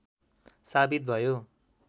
साबित भयो